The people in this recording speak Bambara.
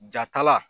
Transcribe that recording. Jatala